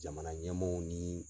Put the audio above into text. Jamana ɲɛmaaw ni